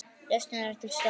Lausnin er til staðar.